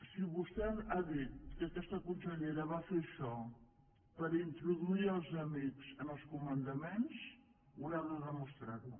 si vostè ha dit que aquesta consellera va fer això per introduir els amics en els comandaments haurà de demostrar ho